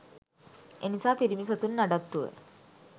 එනිසා පිරිමි සතුන් නඩත්තුව